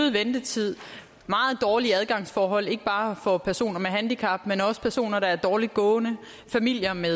ventetid meget dårlige adgangsforhold ikke bare for personer med handicap men også personer der er dårligt gående familier med